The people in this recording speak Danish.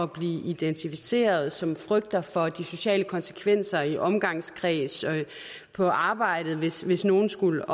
blive identificeret og som frygter for de sociale konsekvenser i omgangskredsen og på arbejdet hvis hvis nogen skulle